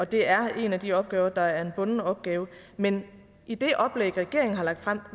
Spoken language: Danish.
det er en af de opgaver der er en bunden opgave men i det oplæg regeringen har lagt frem